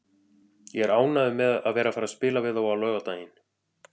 Ég er ánægður með að vera að fara að spila við þá á laugardaginn.